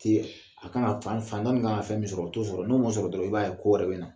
A kan ka fan dɔ min kan ka fɛn min sɔrɔ o t'o sɔrɔ n'o m'o sɔrɔ dɔrɔn i b'a ye ko wɛrɛ bɛ na